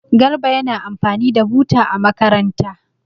Garba yana amfani da buta a makaranta.